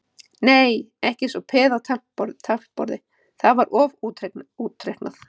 Nei, ekki eins og peð á taflborði, það var of útreiknað.